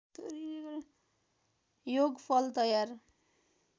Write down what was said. योगफल तयार